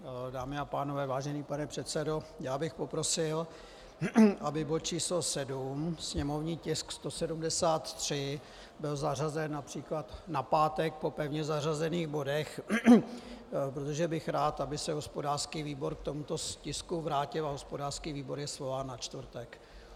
Dámy a pánové, vážený pane předsedo, já bych poprosil, aby bod číslo 7, sněmovní tisk 173, byl zařazen například na pátek po pevně zařazených bodech, protože bych rád, aby se hospodářský výbor k tomuto tisku vrátil, a hospodářský výbor je svolán na čtvrtek.